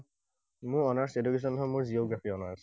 মোৰ honours education নহয়, মোৰ geography অনাৰ্চ।